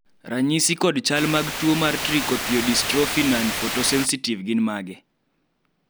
ranyisi kod chal mag tuo mar Trichothiodystrophy nonphotosensitive gin mage?